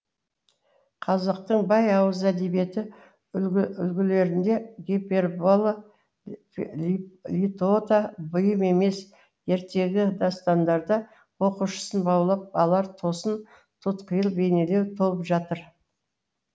қазақтың бай ауыз әдебиеті үлгілерінде гипербола литота бұйым емес ертегі дастандарда оқушысын баулап алар тосын тұтқиыл бейнелеу толып жатыр